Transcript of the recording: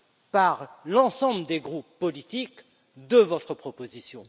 par l'ensemble des groupes politiques de votre proposition.